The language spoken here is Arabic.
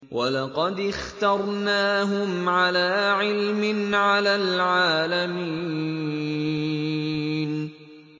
وَلَقَدِ اخْتَرْنَاهُمْ عَلَىٰ عِلْمٍ عَلَى الْعَالَمِينَ